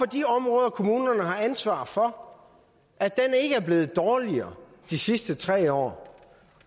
de områder kommunerne har ansvaret for ikke er blevet dårligere de sidste tre år